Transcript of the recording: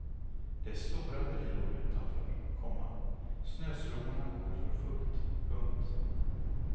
Det är stora drivor utanför, komma snöslungorna går för fullt. punkt